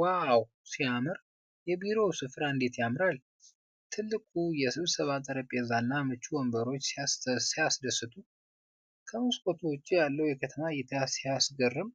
ዋው! ሲያስደምም! የቢሮው ስፍራ እንዴት ያምራል! ትልቁ የ ስብሰባ ጠረጴዛና ምቹ ወንበሮቹ ሲያስደስቱ! ከ መስኮቱ ውጭ ያለው የከተማ እይታ ሲያስገርም!